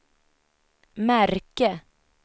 märke